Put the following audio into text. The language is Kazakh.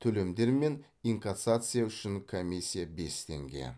төлемдер мен инкассация үшін комиссия бес теңге